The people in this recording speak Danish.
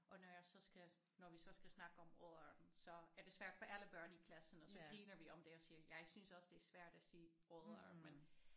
Og når jeg så skal når vi så skal snakke om odderen så er det svært for alle børn i klassen og så griner vi om det og siger jeg synes også det er svært at sige odder men